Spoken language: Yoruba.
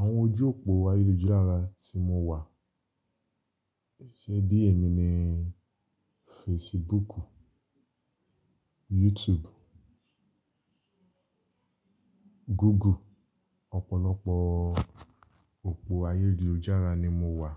Àwọn ojú òpó ayélujára tí mo wà, ṣe bí èmi ni Facebook, YouTube, Google, ọ̀pọ̀lọpọ̀ òpó ayélujára ni mo wà.